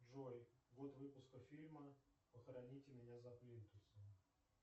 джой год выпуска фильма похороните меня за плинтусом